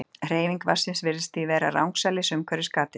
Hreyfing vatnsins virðist því vera rangsælis umhverfis gatið.